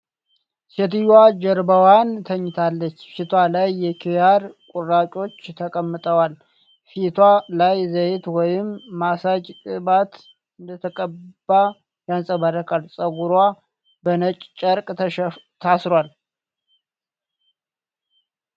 ሴትዮዋ ጀርባዋን ተኝታለች፣ ፊቷ ላይ የኪያር ቁራጮች ተቀምጠዋል። ፊቷ ላይ ዘይት ወይም ማሳጅ ቅባት እንደተቀባ ያንጸባርቃል። ጸጉሯ በነጭ ጨርቅ ታስሯል።